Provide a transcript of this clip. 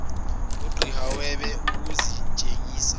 aziqh webe ukuzitshengisa